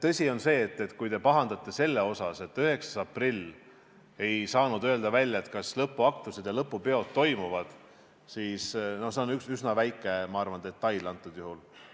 Tõsi on see, et kui te pahandate selle pärast, et 9. aprillil ei saanud öelda välja, kas lõpuaktused ja lõpupeod toimuvad, siis see on minu arvates üsna väike detail antud juhul.